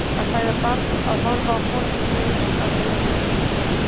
Að fæða barn, að horfa á foreldri deyja, að deyja sjálfur.